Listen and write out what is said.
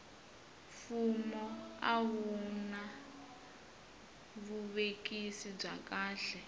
fumo a a wuna vuvekisi bya kahle